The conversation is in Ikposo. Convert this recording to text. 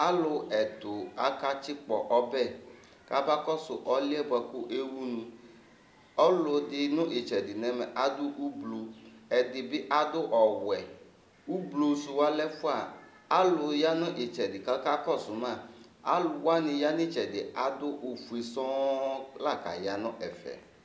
Alu ɛtu akatsikpɔ ɔbɛ kamakɔsu ɔliyɛ bʋakʋ ewʋnu Alʋɛdì nʋ itsɛdi nʋ ɛmɛ adu ʋblu Ɛdí bi adu ɔwɛ Ʋblu su ɔlɛ ɛfʋa Alu ya nʋ itsɛdi ku akakɔsu ma Alʋwani ya nʋ itsɛdi yɛ adu ɔfʋe sɔɔ la ka'ya nʋ ɛfɛ